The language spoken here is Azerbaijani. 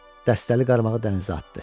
Dəstəli qarmağı dənizə atdı.